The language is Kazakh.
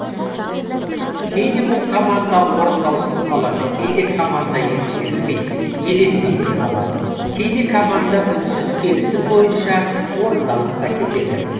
кейде бұл команда орындаусыз қалады кейде команда ескерілмей еленбей де қалады кейде команда үнсіз келісім бойынша орындалып та кетеді